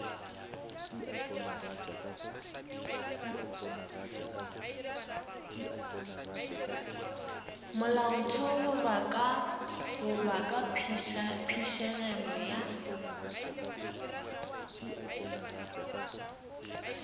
molaotheo goba ka phišegelo ya